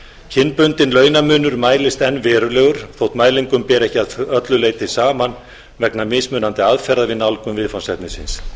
kynbundinn launamunur mælist enn verulegur þótt mælingum beri ekki að öllu leyti saman vegna mismunandi aðferða við nálgun viðfangsefnisins